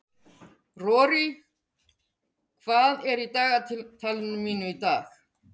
Rorí, hvað er í dagatalinu mínu í dag?